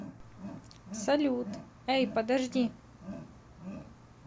салют эй подожди